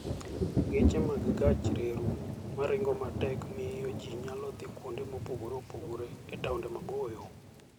Geche mag gach reru ma ringo matek miyo ji nyalo dhi kuonde mopogore opogore e taonde maboyo.